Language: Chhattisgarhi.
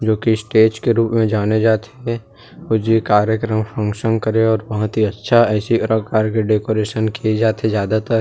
जो की स्टेज के रूप में जाने जात हे और जे कार्यकर्म फंक्शन करे और बोहोत ही अच्छा ऐसे ही अलग कार के डेकोरेशन किए जात हे ज्यादा तर --